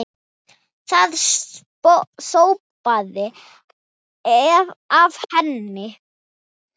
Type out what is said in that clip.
Það sópaði af henni.